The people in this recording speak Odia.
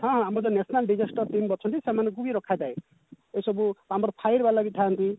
ହଁ ଆମର ତ national disaster team ଅଛନ୍ତି ସେମାନଙ୍କୁ ବି ରଖା ଯାଏ ଏଇସବୁ ଆମର fire ବାଲା ବି ଥାଆନ୍ତି